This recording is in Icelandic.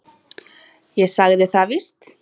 Ég sagði það víst.